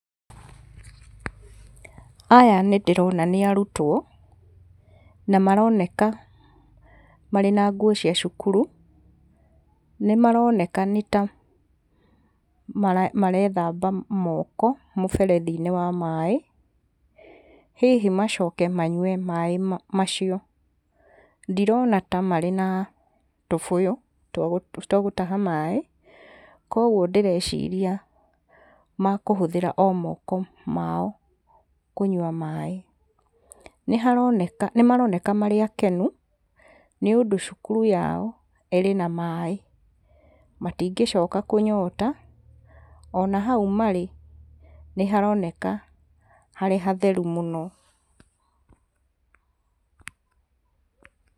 Aya nĩ ndĩrona nĩ arutwo na maroneka marĩ na nguo cia cukuru, nĩ maroneka nĩ ta marethamba moko mũberethi-inĩ wa maĩ, hihi macoke manyue maĩ macio. Ndirona ta marĩ na tũbũyũ twa gũtaha maĩ kuoguo ndĩreciria makũhũthĩra o moko mao kũnyua maĩ. Nĩharoneka nĩmaroneka marĩ akenu nĩũndũ cukuru yao ĩrĩ na maĩ, matingĩcoka kũnyota, ona hau marĩ nĩharoneka harĩ hatheru mũno.